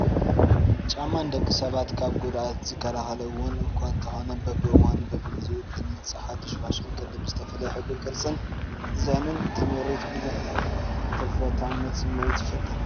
ጫማ ንደቂ ሰባት ካብ ጉድኣት ዝከላኸል እውን እኳ እንተኾነ በብዋኑን በቢጊዜኡን ብዝመፅእ ሓዱሽ ፋሽን ቅዲ ብዝተፈላለየ ሕብሪ፣ ቅርፂን ዲዛይንን ተመሪቱ ብዙሕ ናይ ተፈታውነት ስሚዒት ይፈጥር ፡፡